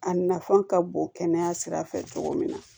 A nafan ka bon kɛnɛya sira fɛ cogo min na